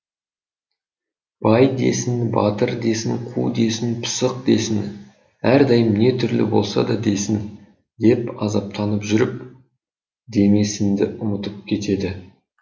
бай десін батыр десін қу десін пысық десін әрдайым не түрлі болса да десін деп азаптанып жүріп демесінді ұмытып кетеді